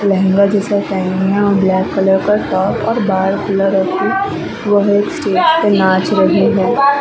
लहंगा जैसा पहना है और ब्लैक कलर का टॉप और बाल खुला रखी वह एक स्टेज पे नाच रही है ।